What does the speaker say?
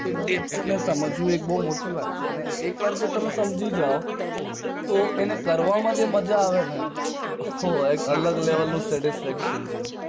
એને સમજવું અલગ વાત છે એક વાર એને સમજી જાઓ તો એને કરવામાં જે મજા આવે ને તે અલગ level satisfaction છે